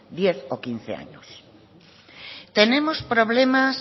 diez o quince años tenemos problemas